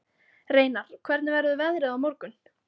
Reynar, hvernig verður veðrið á morgun?